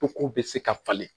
Ko ko bɛ se ka falen